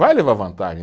Vai levar vantagem.